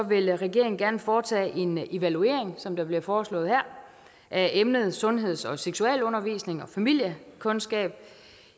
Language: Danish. vil regeringen gerne foretage en evaluering som der bliver foreslået her af emnet sundheds og seksualundervisning og familiekundskab